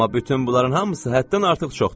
amma bütün bunların hamısı həddən artıq çoxdur.